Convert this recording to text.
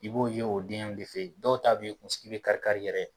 I b'o ye o denw de fe yen dɔw ta yɛrɛ kun sigi be kari kari yɛrɛ